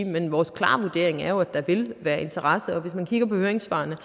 men vores klare vurdering er at der vil være interesse for det hvis man kigger på høringssvarene